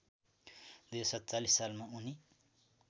२०४७ सालमा उनी